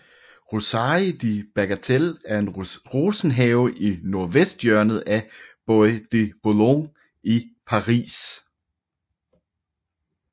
Roseraie de Bagatelle er en rosenhave i nordvesthjørnet af Bois de Boulogne i Paris